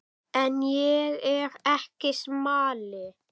En ég er ekki smali.